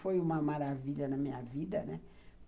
Foi uma maravilha na minha vida, né?